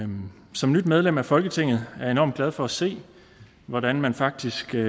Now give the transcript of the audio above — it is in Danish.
som nyt medlem af folketinget er jeg enormt glad for at se hvordan man faktisk er